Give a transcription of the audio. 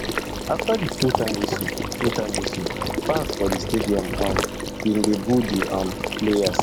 afta di fulltime whistle fulltime whistle fans for di stadium um bin dey boo di um players